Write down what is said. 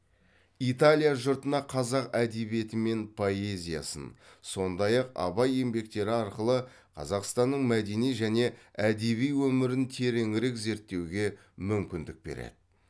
италия жұртына қаза әдебиеті мен поэзиясын сондай ақ абай еңбектері арқылы қазақстанның мәдени және әдеби өмірін тереңірек зерттеуге мүмкіндік береді